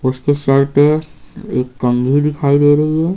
उसके सर पे एक कंघी दिखाई दे रही है।